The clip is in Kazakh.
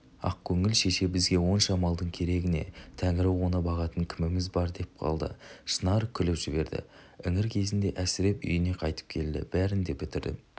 ақкөңіл шешебізге онша малдың керегі не тәңірі оны бағатын кіміміз бар деп қалды шынар күліп жіберді іңір кезінде әсіреп үйіне қайтып келді бәрін де бітірдім